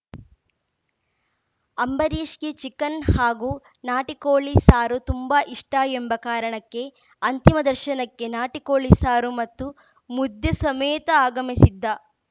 ಅಂಬರೀಷ್‌ಗೆ chicken ಹಾಗೂ ನಾಟಿ ಕೋಳಿ ಸಾರು ತುಂಬಾ ಇಷ್ಟಎಂಬ ಕಾರಣಕ್ಕೆ ಅಂತಿಮ ದರ್ಶನಕ್ಕೆ ನಾಟಿ ಕೋಳಿ ಸಾರು ಮತ್ತು ಮುದ್ದೆ ಸಮೇತ ಆಗಮಿಸಿದ್ದ